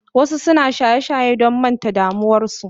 Wasu suna sha don manta da damuwarsu.